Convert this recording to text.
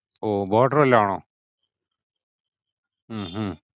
ഓ Border വല്ലോം ആണോ? ഹും ഹും